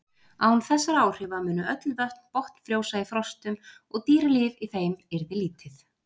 Án þessara áhrifa mundu öll vötn botnfrjósa í frostum og dýralíf í þeim yrði lítið.